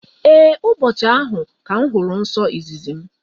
Ee, ụbọchị ahụ ka m hụrụ nsọ izizi m.